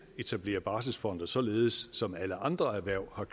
etablere barselsfonde således som alle andre erhverv og